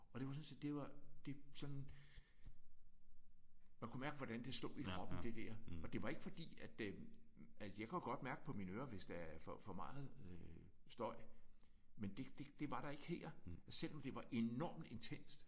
Og det var sådan set det det sådan man kunne mærke hvordan det slog i kroppen det der. Og det var ikke fordi at øh altså jeg kan jo godt mærke på mine ører hvis der er for for meget øh støj men det det var der ikke her. Selvom det var enormt intenst